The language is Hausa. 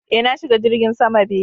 Eh, na shiga jirgin sama be.